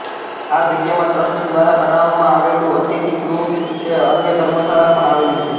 આ જગ્યામાં ટ્રસ્ટ દ્વારા બનાવવામા આવેલુ અતિથીગૃહ છે અન્ય ધર્મશાળા પણ આવેલી છે